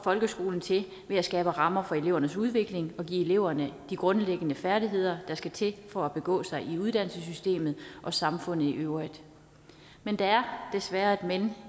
folkeskolen til ved at skabe rammer for elevernes udvikling og give eleverne de grundlæggende færdigheder der skal til for at begå sig i uddannelsessystemet og samfundet i øvrigt men der er desværre et men